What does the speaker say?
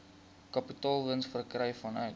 kapitaalwins verkry vanuit